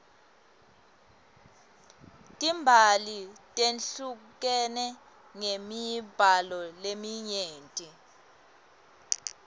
timbali tehlukene ngemibala leminyeni